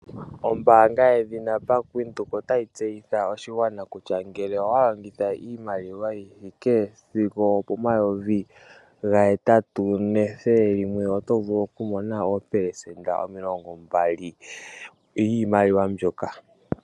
Oombaanga yaVenduka otayi tseyitha oshigwana kutya ngele owa longitha iimaliwa yi thike sigo opomayovi ga hetatu nethele limwe oto vulu okumona 20% yiimaliwa mbyoka.